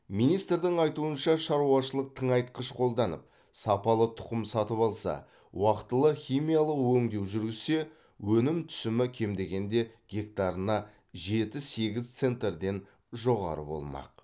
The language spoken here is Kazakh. министрдің айтуынша шаруашылық тыңайтқыш қолданып сапалы тұқым сатып алса уақытылы химиялық өңдеу жүргізсе өнім түсімі кем дегенде гектарына жеті сегіз центерден жоғары болмақ